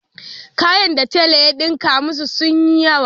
Kayan da tela ya ɗinka masu sun yi yawa.